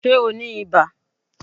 Ṣé o ní ibà?